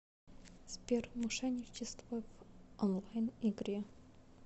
сбер мошенничество в онлайн игре